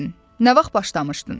Nə vaxt başlamışdın?